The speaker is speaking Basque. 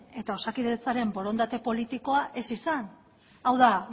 eta osakidetzaren borondatea politikoa ez izan hau da